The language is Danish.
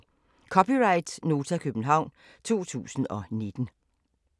(c) Nota, København 2019